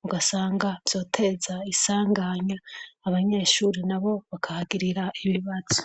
mugasanga vyoteza isanganya abanyeshuri na bo bakahagirira ibibazo.